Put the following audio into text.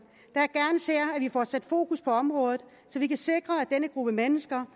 får sat fokus på området så vi kan sikre at denne gruppe mennesker